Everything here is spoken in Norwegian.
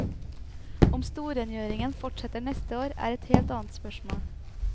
Om storrengjøringen fortsetter neste år, er et helt annet spørsmål.